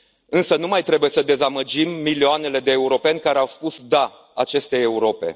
Însă nu mai trebuie să dezamăgim milioanele de europeni care au spus da acestei Europe.